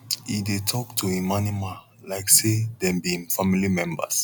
he dey talk to em animal like say dem be em family members